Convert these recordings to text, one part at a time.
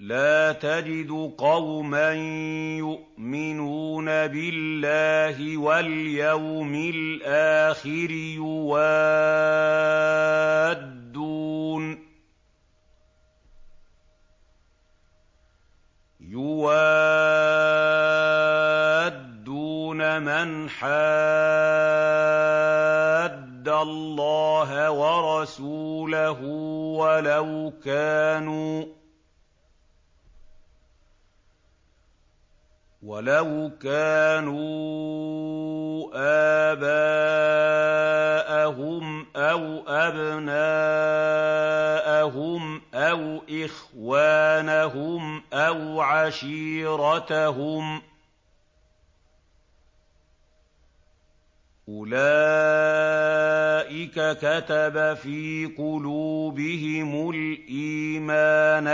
لَّا تَجِدُ قَوْمًا يُؤْمِنُونَ بِاللَّهِ وَالْيَوْمِ الْآخِرِ يُوَادُّونَ مَنْ حَادَّ اللَّهَ وَرَسُولَهُ وَلَوْ كَانُوا آبَاءَهُمْ أَوْ أَبْنَاءَهُمْ أَوْ إِخْوَانَهُمْ أَوْ عَشِيرَتَهُمْ ۚ أُولَٰئِكَ كَتَبَ فِي قُلُوبِهِمُ الْإِيمَانَ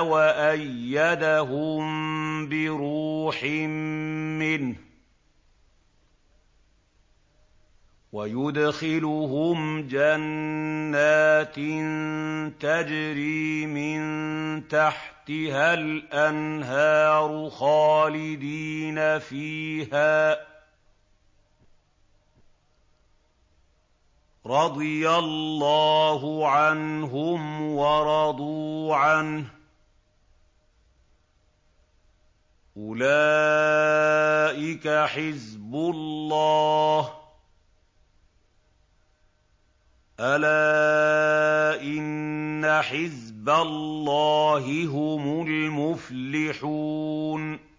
وَأَيَّدَهُم بِرُوحٍ مِّنْهُ ۖ وَيُدْخِلُهُمْ جَنَّاتٍ تَجْرِي مِن تَحْتِهَا الْأَنْهَارُ خَالِدِينَ فِيهَا ۚ رَضِيَ اللَّهُ عَنْهُمْ وَرَضُوا عَنْهُ ۚ أُولَٰئِكَ حِزْبُ اللَّهِ ۚ أَلَا إِنَّ حِزْبَ اللَّهِ هُمُ الْمُفْلِحُونَ